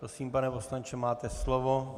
Prosím, pane poslanče, máte slovo.